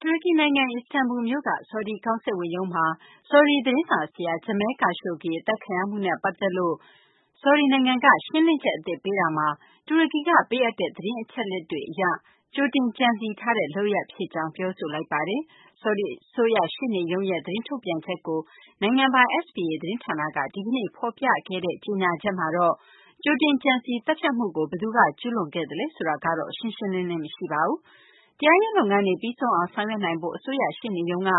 တူရကီနိုင်ငံ အီစတန်ဘူမြို့က ဆော်ဒီကောင်စစ်ဝန်ရုံးမှာ ဆော်ဒီသတင်းစာဆရာ Jamal Khashoggi အသတ်ခံရမှုနဲ့ ပတ်သက်လို့ ဆောင်ဒီနိုင်ငံက ရှင်းလင်းချက်အသစ် ပေးရာမှာ၊ တူရကီက ပေးအပ်တဲ့ သတင်းအချက်အလက်တွေအရ ကြိုတင်ကြံစည်ထားတဲ့ လုပ်ရပ်ဖြစ်ကြောင်း ပြောဆိုလိုက်ပါတယ်။ ဆော်ဒီအစိုးရရှေ့နေရုံးရဲ့ သတင်းထုတ်ပြန်ချက်ကို နိုင်ငံပိုင် SPA သတင်းဌာနက ဒီကနေ့ ဖော်ပြခဲ့တဲ့ ကြေညာချက်မှာတော့ ကြိုတင်ကြံစည်သတ်ဖြတ်မှုကို ဘယ်သူက ကျုးလွန်ခဲ့သလဲ ဆိုတာကတော့ ရှင်းရှင်းလင်းလင်း မရှိပါဘူး။ တရားရေးလုပ်ငန်းတွေ ပြီးဆုံးအောင် ဆောင်ရွက်နိုင်ဖို့ အစိုးရရှေ့နေရုံးက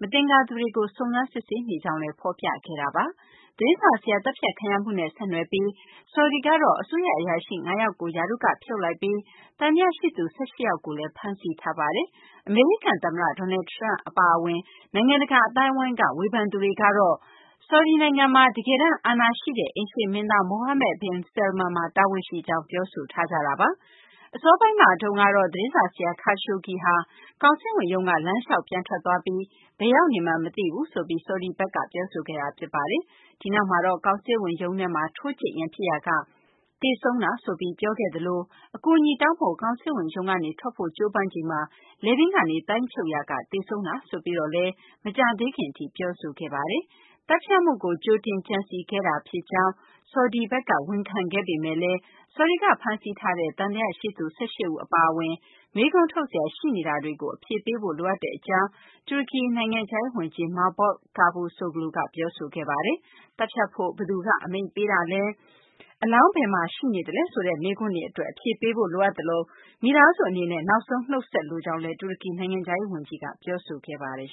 မသင်္ကာသူတွေကို စုံစမ်းစစ်ဆေးနေကြောင်းလည်း ဖော်ပြခဲ့တာပါ။ သတင်းစာဆရာ သတ်ဖြတ်ခံရမှုနဲ့ ဆက်နွယ်ပြီး ဆော်ဒီကတော့ အစိုးရအရာရှိ ၅ ယောက်ကို ရာထူးကဖြုတ်လိုက်ပြီး၊ သံသယရှိသူ ၁၈ ယောက်ကိုလည်း ဖမ်းဆီးထားပါတယ်။ အမေရိကန်သမ္မတ Donald Trump အပါအဝင် နိုင်ငံတကာ အသိုင်းအဝန်းက ဝေဖန်သူတွေကတော့ ဆော်ဒီနိုင်ငံမှာ တကယ်တမ်းအာဏာရှိတဲ့ အိမ်ရှေ့မင်းသား Mohammed bin Salman မှာ တာဝန်ရှိကြောင်း ပြောဆိုထားကြတာပါ။ အစောပိုင်းမှာတုန်းကတော့ သတင်းစာဆရာ Khashoggi ဟာ ကောင်စစ်ဝန်ရုံးက လမ်းလျှောက်ပြန်ထွက်သွားပြီး၊ ဘယ်ရောက်နေမှန်း မသိဘူးဆိုပြီး ဆော်ဒီဘက်က ပြောဆိုခဲ့တာ ဖြစ်ပါတယ်။ ဒီနောက်မှာတော့ ကောင်စစ်ဝန်ရုံးထဲမှာ ထိုးကြိတ်ရန်ဖြစ်ရာက သေဆုံးတာဆိုပြီး ပြောခဲ့သလို၊ အကူအညီတောင်းဖို့ ကောင်စစ်ဝန်ရုံးကနေ ထွက်ဖို့ကြိုးပမ်းချိန်မှာ လည်ပင်းကနေသိုင်းချုပ်ရာက သေဆုံးတာ ဆိုပြီးတော့လည်း မကြာသေးခင်အထိ ပြောဆိုခဲ့တာပါ။ သတ်ဖြတ်မှုကို ကြိုတင်ကြံစည်ခဲ့တာဖြစ်ကြောင်း ဆော်ဒီဘက်က ဝန်ခံခဲ့ပေမဲ့လည်း ဆော်ဒီကဖမ်းဆီးထားတဲ့ သံသယရှိသူ ၁၈ ဦး အပါအဝင် မေးခွန်းထုတ်စရာ ရှိနေတာတွေကို အဖြေပေးဖို့ လိုအပ်ကြောင်း တူရကီနိုင်ငံခြားရေးဝန်ကြီး Mevlut Cavusoglu က ပြောဆိုခဲ့ပါတယ်။ သတ်ဖြတ်ဖို့ ဘယ်သူက အမိန့်ပေးတာလဲ၊ အလောင်း ဘယ်မှာရှိနေလဲ ဆိုတဲ့မေးခွန်းတွေအတွက် အဖြေပေးဖို့ လိုအပ်သလို၊ မိသားစုအနေနဲ့ နောက်ဆုံးနှုတ်ဆက်လိုကြောင်းလည်း တူရကီနိုင်ငံခြားရေးဝန်ကြီးက ပြောဆိုခဲ့ပါတယ်